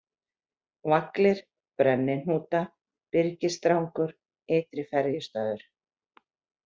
Vaglir, Brennihnúta, Byrgisdrangur, Ytri-Ferjustaður